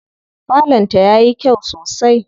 Falon ta yayi kyau sosai.